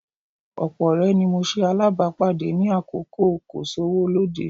Ọ̀pọ̀ ọ̀rẹ́ ni mo ṣe alábàápàdé ní àkókò kò-sówó-lóde